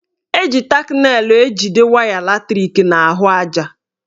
Eji tak nelụ ejide waya latrik n'ahụaja.